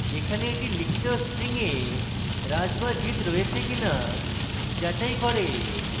এখানে এটি লিখিত string এ raj বা jit রয়েছে কিনা যাচাই করে